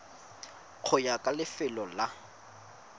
go ya ka lefelo la